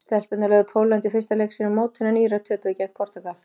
Stelpurnar lögðu Pólland í fyrsta leik sínum á mótinu en Írar töpuðu gegn Portúgal.